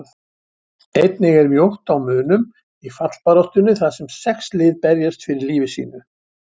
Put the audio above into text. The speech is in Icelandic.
Einnig er mjótt á munum í fallbaráttunni þar sem sex lið berjast fyrir lífi sínu.